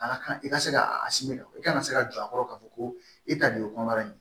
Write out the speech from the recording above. A ka kan i ka se ka a kɛ i ka kan se ka jɔ a kɔrɔ k'a fɔ ko e ta de ye kɔnɔbara ye